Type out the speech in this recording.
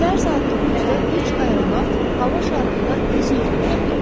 Səhər saat 9-da üç aeronavt hava şarında öz yerini tutdu.